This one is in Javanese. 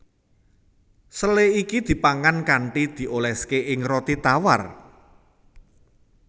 Sele iki dipangan kanthi dioléské ing roti tawar